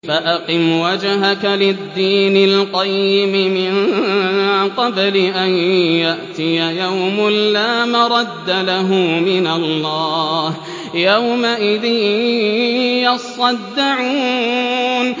فَأَقِمْ وَجْهَكَ لِلدِّينِ الْقَيِّمِ مِن قَبْلِ أَن يَأْتِيَ يَوْمٌ لَّا مَرَدَّ لَهُ مِنَ اللَّهِ ۖ يَوْمَئِذٍ يَصَّدَّعُونَ